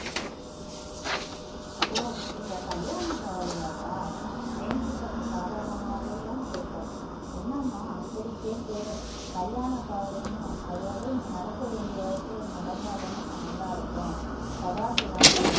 ஓ இந்த கல்யாணக் கவலையாப்பா ஜெயந்தி சற்று சாதாரணமாவேதான் கேட்டாள் என்னம்மா அப்படி கேட்ட கல்யாணக் கவலைன்னு அது அதுன்னு நடக்க வேண்டிய வயசுல நடந்தாத்தானேம்மா நல்லா இருக்கும் சதாசிவம்